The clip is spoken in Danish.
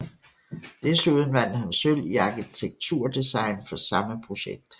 Desuden vandt han sølv i arkitekturdesign for samme projekt